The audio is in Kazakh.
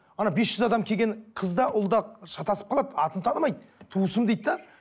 ана бес жүз адам келген қыз да ұл да шатасып қалады атын танымайды туысым дейді де